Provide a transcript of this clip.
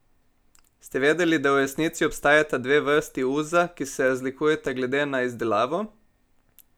Ste vedeli, da v resnici obstajata dve vrsti uza, ki se razlikujeta glede na izdelavo?